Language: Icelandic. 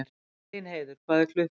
Elínheiður, hvað er klukkan?